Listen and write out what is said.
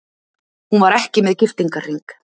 Hún var ekki með giftingarhring.